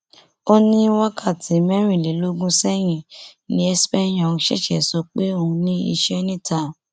ó ní wákàtí mẹrìnlélógún sẹyìn ni cs] ekpenyọng ṣẹṣẹ sọ pé òun ní iṣẹ níta